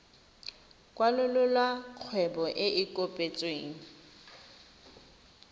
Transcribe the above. kwalolola kgwebo e e kopetsweng